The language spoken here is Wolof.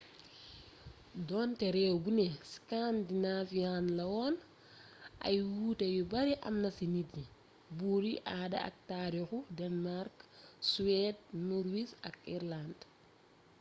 donté rééw buné scandinavian' lawoon ay wuuté yu bari am na ci nit yi buur yi aada ak taarixu denmark suwed norwees ak irëland